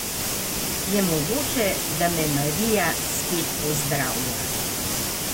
Je mogoče, da me Marija spet pozdravlja?